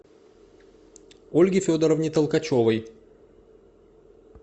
ольге федоровне толкачевой